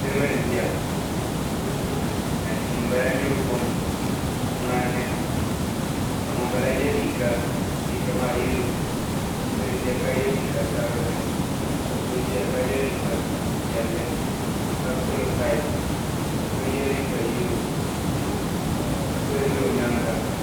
Niribi n ʒiya ka ŋun bala nyuri kom ŋmanni ka ŋun bala ye liika liiga maa yalo ka so ʒeya ka ye liika sabinli ka so ʒeya ka ye liika piɛlli ka pili kaip ka so ye liika yalo ka so ʒe o nyaaŋa.